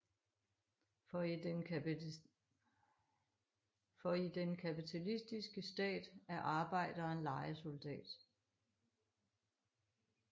For i den kapitalistiske stat er arbejderen lejesoldat